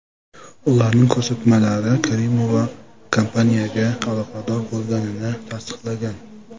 Ularning ko‘rsatmalari Karimova kompaniyaga aloqador bo‘lmaganini tasdiqlagan.